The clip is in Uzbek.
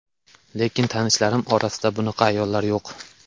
Lekin tanishlarim orasida bunaqa ayollar yo‘q.